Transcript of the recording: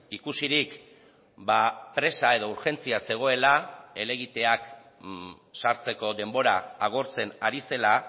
ikusirik presa edo urgentzia zegoela helegiteak sartzeko denbora agortzen ari zela